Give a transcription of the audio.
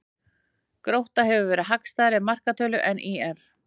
Grótta hefur hagstæðari markatölu en ÍR